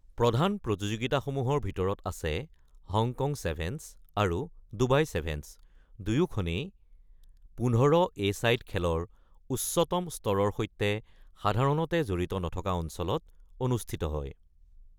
প্ৰধান প্ৰতিযোগিতাসমূহৰ ভিতৰত আছে হংকং চেভেন্ছ আৰু ডুবাই চেভেন্ছ, দুয়োখনেই ১৫-এ-ছাইড খেলৰ উচ্চতম স্তৰৰ সৈতে সাধাৰণতে জড়িত নথকা অঞ্চলত অনুষ্ঠিত হয়।